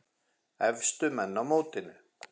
Efstu menn í mótinu